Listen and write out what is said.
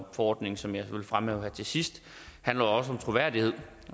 ordningen som jeg vil fremhæve her til sidst handler også om troværdighed